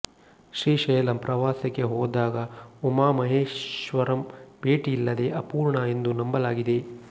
ಶ್ರೀಶೈಲಂ ಪ್ರಾವಸಕ್ಕೆ ಹೊದಾಗಉಮಮಹೆಸಶ್ವರಂ ಭೆಟಿ ಇಲ್ಲದೆ ಅಪೂರ್ಣಾ ಎಂದು ನಂಬಲಾಗಿದೆ